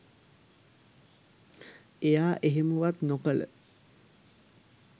එයා එහෙමවත් නොකල